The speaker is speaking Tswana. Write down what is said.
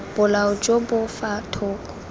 bolao jo bo fa thoko